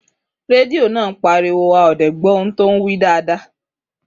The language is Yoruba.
Rẹdìo náà páríwò á ó dé gbó tòun wí dádá.